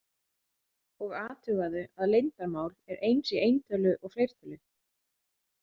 Og athugaðu að leyndarmál er eins í eintölu og fleirtölu.